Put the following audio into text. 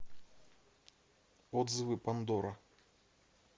отзывы пандора